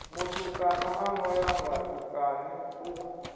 mutukana ano ya vhutukani u